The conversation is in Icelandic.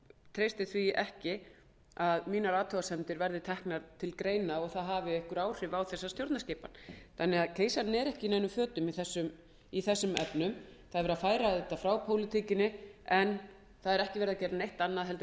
treysti því ekki að athugasemdir mínar verði teknar til greina og þær hafi einhver áhrif á þessa stjórnarskipan keisarinn er ekki í neinum fötum í þessum efnum það er verið að færa þetta frá pólitíkinni en það er ekki gert neitt annað en